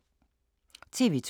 TV 2